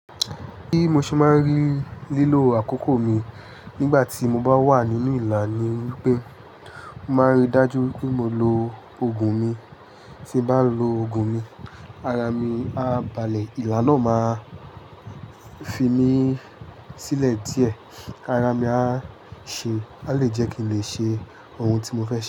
Bí mo ṣe máa rí lílò àkókò mi nígbà tí mo bá wà nínú ìlà ni wípé máa rí dájú pé mo lo ogun mi. Tí bá lo ogun mi, ara mi á balẹ̀, ìlà náà máa fi mí sílẹ̀ díẹ̀, ara mi á ṣe, a lè jẹ́ kí n lè ṣe ohun tí mo fẹ́ ṣe.